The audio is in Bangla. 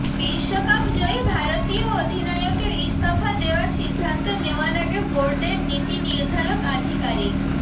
বিশ্বকাপ জয়ী ভারতীয় অধিনায়কের ইস্তফা দেওয়ার সিদ্ধান্ত নেওয়ার আগে বোর্ডের নীতি নির্ধারক আধিকারিক